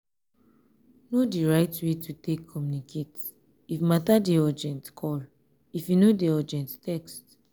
know di right way to take communicate; if matter dey urgent call if e no dey urgent text